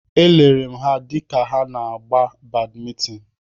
Elere m ha dịka ha na-agba badmintin.